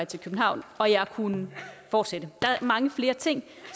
til københavn og jeg kunne fortsætte der er mange flere ting